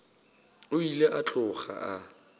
o ile a tloga a